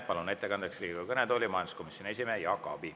Palun ettekandeks Riigikogu kõnetooli majanduskomisjoni esimehe Jaak Aabi.